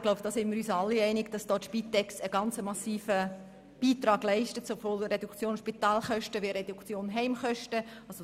Wir sind uns alle einig, dass die Spitex einen massiven Beitrag daran leistet, sowohl was die Reduktion der Spitalkosten als auch die Reduktion der Heimkosten anbelangt.